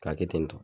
K'a kɛ ten tɔ